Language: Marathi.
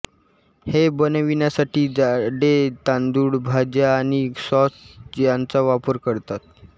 हे बनविण्यासाठी जाडे तांदूळ भाज्या आणि सॉस यांचा वापर करतात